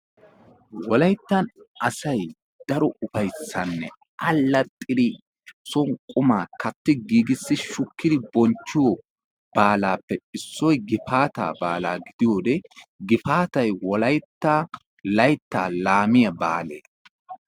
Wolayttan asay daro ufayssane allaxxidi son qumma katti giigissi shuukidi bonchchiyo baalappe issoy gifaata baalaa gidiyode Gifaatay wolayttaa laytta laamiyaa baale.